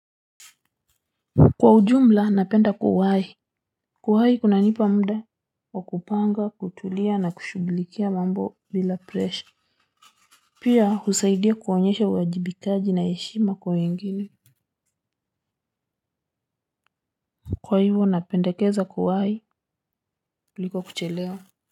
Kwa ujumla napenda kuwahi, kuwahi kuna nipa muda wa kupanga kutulia na kushughulikia mambo bila presha. Pia husaidia kuonyesha uajibikaji na heshima kwa wengine. Kwa hivyo napendekeza kuwahi kuliko kuchelewa.